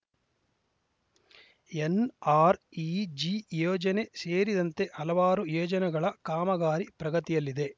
NREG ಯೋಜನೆ ಸೇರಿದಂತೆ ಹಲವಾರು ಯೋಜನೆಗಳ ಕಾಮಗಾರಿ ಪ್ರಗತಿಯಲ್ಲಿದೆ